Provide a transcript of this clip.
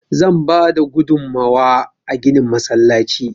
Zan bada gudunmawa a ginin masallaci.